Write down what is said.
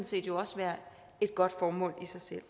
set også være et godt formål i sig selv